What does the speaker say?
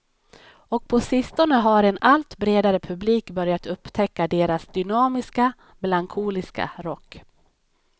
Och på sistone har en allt bredare publik börjat upptäcka deras dynamiska, melankoliska rock.